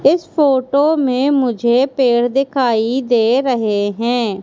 इस फोटो में मुझे पेड़ दिखाई दे रहे हैं।